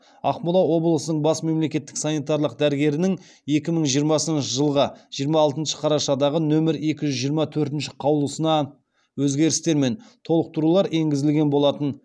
ақмола облысының бас мемлекеттік санитарлық дәрігерінің екі мың жиырмасыншы жылғы жиырма алтыншы қарашадағы нөмір екі жүз жиырма төртінші қаулысына өзгерістер мен толықтырулар еңгізілген болатын